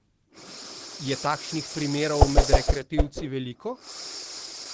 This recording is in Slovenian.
Je takšnih primerov med rekreativci veliko?